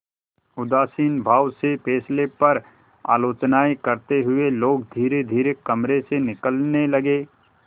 उदासीन भाव से फैसले पर आलोचनाऍं करते हुए लोग धीरेधीरे कमरे से निकलने लगे